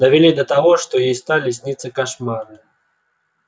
довели до того что ей стали сниться кошмары